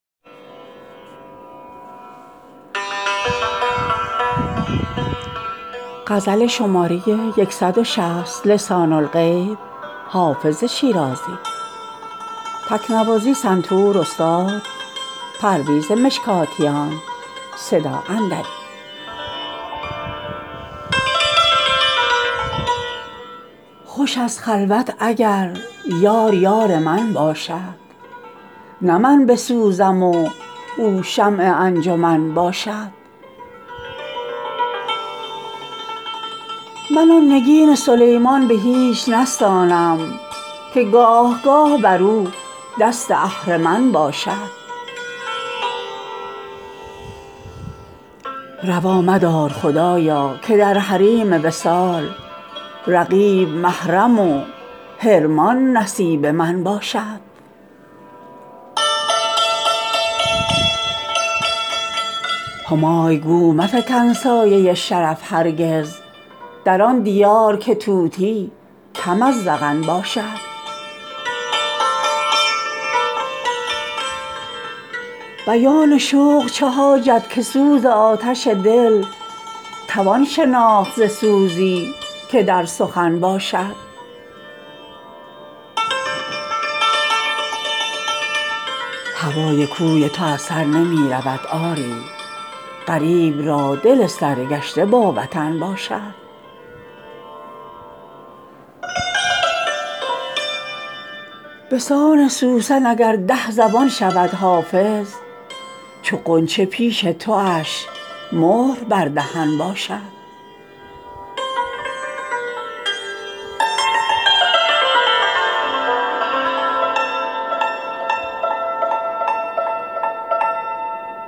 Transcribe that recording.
خوش است خلوت اگر یار یار من باشد نه من بسوزم و او شمع انجمن باشد من آن نگین سلیمان به هیچ نستانم که گاه گاه بر او دست اهرمن باشد روا مدار خدایا که در حریم وصال رقیب محرم و حرمان نصیب من باشد همای گو مفکن سایه شرف هرگز در آن دیار که طوطی کم از زغن باشد بیان شوق چه حاجت که سوز آتش دل توان شناخت ز سوزی که در سخن باشد هوای کوی تو از سر نمی رود آری غریب را دل سرگشته با وطن باشد به سان سوسن اگر ده زبان شود حافظ چو غنچه پیش تواش مهر بر دهن باشد